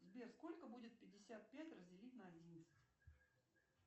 сбер сколько будет пятьдесят пять разделить на одиннадцать